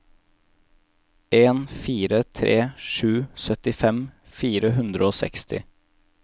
en fire tre sju syttifem fire hundre og seksti